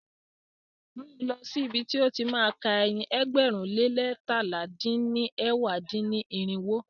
Mú lọ̀ sí ibi ti ó ti má a ka ẹyin ẹgbẹ̀rún lé leétalá dín ní ẹ̀wá dín-ní-irinwó.